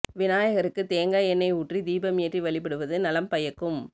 விநாயகருக்கு தேங்காய் எண்ணெய் ஊற்றி தீபம் ஏற்றி வழிபடுவது நலம் பயக்கும்